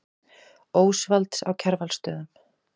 Ósvalds á Kjarvalsstöðum.